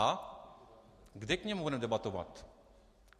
A kde k němu budeme debatovat?